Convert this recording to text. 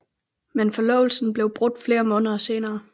Men forlovelsen blev brudt flere måneder senere